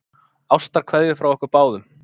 Ástarkveðjur frá okkur báðum.